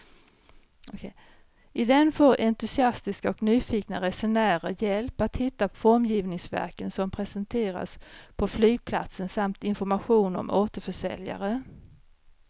I den får entusiastiska och nyfikna resenärer hjälp att hitta formgivningsverken som presenteras på flygplatsen samt information om återförsäljare.